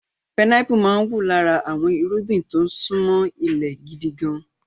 Pinápù máa ń wù lára àwọn irúgbìn tó ń ṣúnmọ́ ilẹ̀ gidi gan-an.